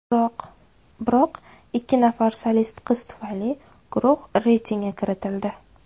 Biroq ikki nafar solist qiz tufayli guruh reytingga kiritildi.